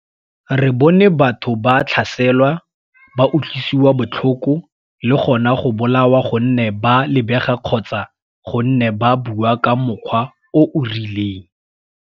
Re bone batho ba tlhaselwa, ba utlwisiwa botlhoko le gona go bolawa gonne ba lebega kgotsa gonne ba bua ka mokgwa o o rileng.